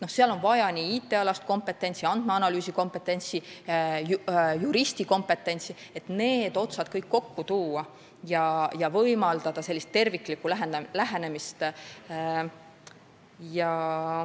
Seal on vaja IT-alast kompetentsi, andmeanalüüsikompetentsi, juristi kompetentsi, et kõik otsad kokku tuua ja võimaldada terviklikku lähenemist.